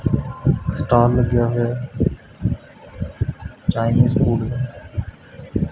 Stall ਲੱਗਿਆ ਹੋਇਆ ਐ ਚਾਈਨੀਜ਼ ਫੂਡ ਮੇਂ।